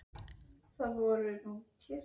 hrópaði maðurinn svo hátt að allir í bílnum heyrðu.